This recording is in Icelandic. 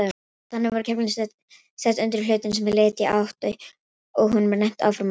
Þannig voru keflin sett undir hlutinn sem flytja átti og honum rennt áfram á þeim.